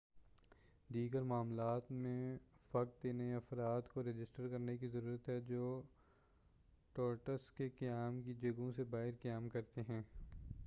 دیگر معاملات میں فقط انہیں افراد کو رجسٹر کرنے کی ضرورت ہے جو ٹورسٹس کے قیام کی جگہوں سے باہر قیام کرتے ہیں